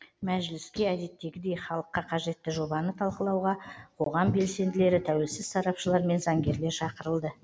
мәжіліске әдеттегідей халыққа қажетті жобаны талқылауға қоғам белсенділері тәуелсіз сарапшылар мен заңгерлер шақырылды